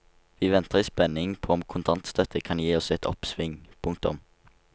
Vi venter i spenning på om kontantstøtte kan gi oss et oppsving. punktum